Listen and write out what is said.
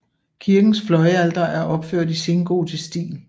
Kirkens fløjalter er opført i sengotisk stil